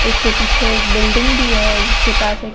उसके पीछे एक बिल्डिंग भी है जिसके पास एक--